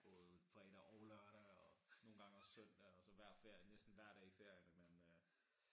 Både fredag og lørdag og nogle gange også søndag og så hver ferie næsten hver dag i ferierne men øh